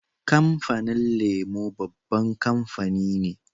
Kamfanin lemo babban kamfani ne